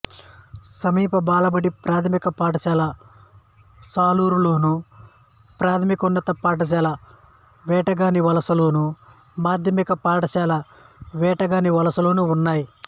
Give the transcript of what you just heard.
సమీప బాలబడి ప్రాథమిక పాఠశాల సాలూరులోను ప్రాథమికోన్నత పాఠశాల వేటగానివలసలోను మాధ్యమిక పాఠశాల వేటగానివలసలోనూ ఉన్నాయి